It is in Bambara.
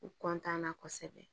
U na kosɛbɛ